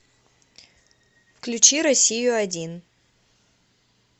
включи россию один